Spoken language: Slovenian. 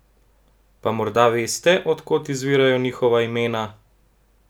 Pa morda veste, od kod izvirajo njihova imena?